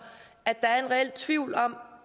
at der er en reel tvivl om